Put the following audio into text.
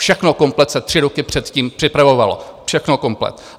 Všechno komplet se tři roky předtím připravovalo, všechno komplet.